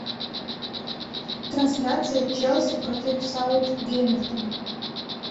трансляция челси против саутгемптон